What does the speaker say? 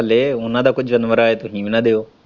ਥੱਲੇ ਉਹਨਾਂ ਦਾ ਕੋਈ ਜਾਨਵਰ ਆਏ ਤੂੰ ਹੀ ਵੀ ਨਾ ਦਿਓ।